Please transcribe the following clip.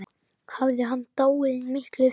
Hafði hann dáið miklu fyrr?